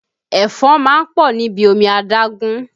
Ẹ̀fọn máa ń pọ̀ níbi omi adágún